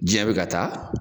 Diɲɛ bɛ ka taa